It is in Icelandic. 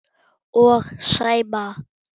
Og Sæma.